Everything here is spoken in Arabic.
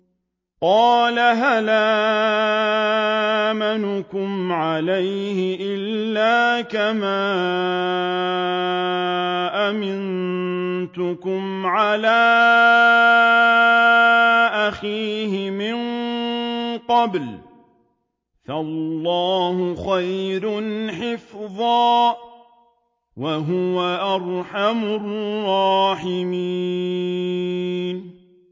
قَالَ هَلْ آمَنُكُمْ عَلَيْهِ إِلَّا كَمَا أَمِنتُكُمْ عَلَىٰ أَخِيهِ مِن قَبْلُ ۖ فَاللَّهُ خَيْرٌ حَافِظًا ۖ وَهُوَ أَرْحَمُ الرَّاحِمِينَ